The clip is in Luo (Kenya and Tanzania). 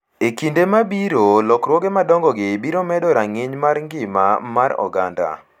E kinde mabiro, lokruoge madongogi biro medo rang’iny mar ngima mar oganda